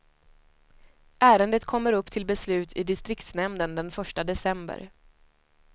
Ärendet kommer upp till beslut i distriktsnämnden den första december.